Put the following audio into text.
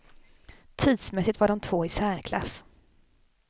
Tidsmässigt var de två i särklass.